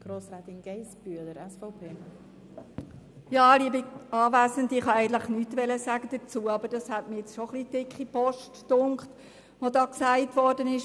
Ich wollte eigentlich nichts dazu sagen, aber ich fand es doch etwas dicke Post, was von linker Seite zum Umzug der SVP gesagt worden ist.